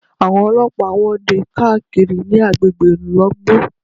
Àwọn ọlọ́pàá ń wọ́de káàkiri ní agbègbè Ìlogbò